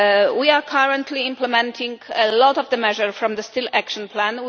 We are currently implementing a lot of measures from the steel action plan.